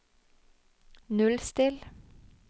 nullstill